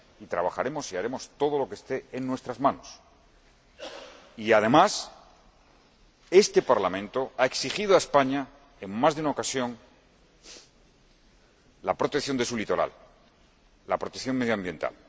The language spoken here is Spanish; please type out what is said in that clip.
Trabajaremos y haremos todo lo que esté en nuestras manos y, además, este Parlamento ha exigido a España, en más de una ocasión, la protección de su litoral, la protección medioambiental.